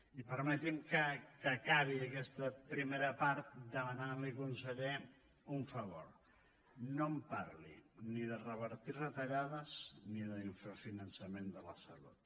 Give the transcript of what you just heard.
i permeti’m que acabi aquesta primera part demanant li conseller un favor no em parli ni de revertir retallades ni d’infrafinançament de la salut